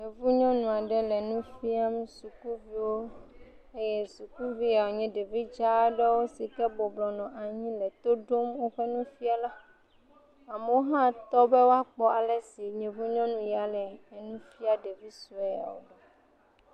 Yevu nyɔnu aɖe le nu fiam suykuviwo eye sukuviwo nye ɖevi dza aɖewo yi ke bɔbɔnɔ anyi nɔ to ɖom woƒe nufiala. Amewo hã tɔ be woakpɔ ale si yevunyɔnu ya le nufia ɖevi suewo.